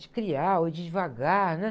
De criar ou de ir devagar, né?